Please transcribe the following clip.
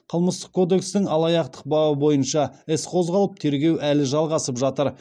қылмыстық кодекстің алаяқтық бабы бойынша іс қозғалып тергеу әлі жалғасып жатыр